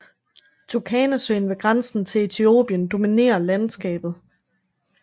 Turkanasøen ved grænsen til Etiopien dominerer landskabet